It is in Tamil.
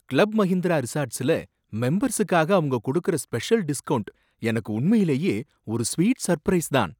கிளப் மஹிந்திரா ரிசார்ட்ஸ்ல மெம்பர்ஸுக்காக அவங்க கொடுக்கற ஸ்பெஷல் டிஸ்கௌண்ட் எனக்கு உண்மையிலேயே ஒரு ஸ்வீட் சர்ப்ரைஸ் தான்.